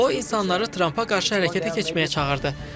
O insanları Trampa qarşı hərəkətə keçməyə çağırdı.